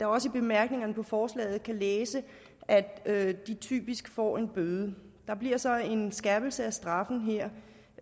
også i bemærkningerne til forslaget læse at de typisk får en bøde der bliver så en skærpelse af straffen her